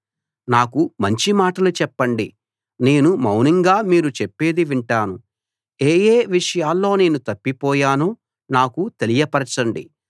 నాకు మంచి మాటలు చెప్పండి నేను మౌనంగా మీరు చెప్పేది వింటాను ఏ ఏ విషయాల్లో నేను తప్పిపోయానో నాకు తెలియపరచండి